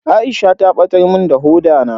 Aisha ta batar mun da hoda na.